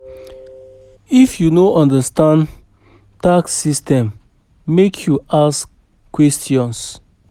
If you no understand tax system, make you ask questions.